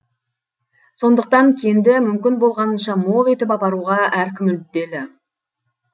сондықтан кенді мүмкін болғанынша мол етіп апаруға әркім мүдделі